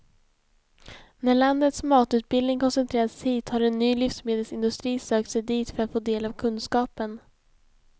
När landets matutbildning koncentrerats hit har en ny livsmedelsindustri sökt sig dit för att få del av kunskapen.